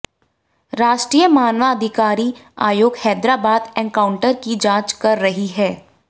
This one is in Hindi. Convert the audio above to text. राष्ट्रीय मानवाधिकार आयोग हैदराबाद एनकाउंटर की जांच कर रही है